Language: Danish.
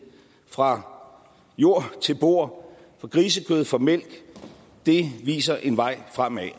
fra jord til bord for grisekød for mælk det viser en vej fremad